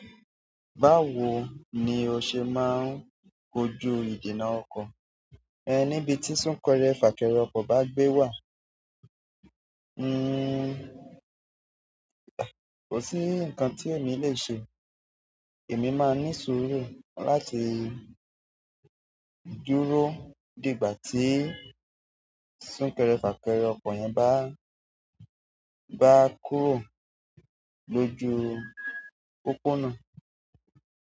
Báwo ni o ṣe máa ń kojú ìdènà ọkọ̀ níbi tí súnkẹrẹ fàkẹrẹ ọkọ̀ bá gbé wà? Ǹnn, mi ò ní nǹkan tí mo lè ṣe. Èmi máa ń ní ìṣòro láti dúró. Dí ìgbà tí súnkẹrẹ fàkẹrẹ ọkọ̀ yẹn bá kúrò lójú ọ̀nà.